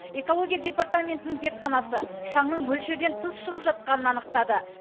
экология департаментінің зертханасы шаңның мөлшерден тыс шығып жатқанын анықтады